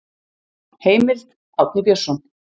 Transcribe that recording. Heimild: Árni Björnsson.